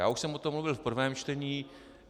Já už jsem o tom mluvil v prvém čtení.